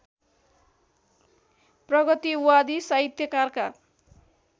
प्रगतिवादी साहित्यकारका